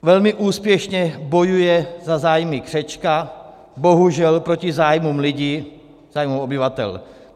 Velmi úspěšně bojuje za zájmy křečka, bohužel proti zájmům lidí, zájmu obyvatel.